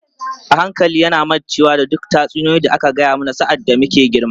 A hankali yana mancewa da duk tatsuniyoyi da aka gaya mana sa’ad da muke girma.